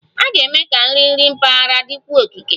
A ga-eme ka nri nri mpaghara dịkwuo okike